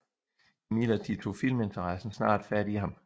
Imidlertid tog filminteressen snart fat i ham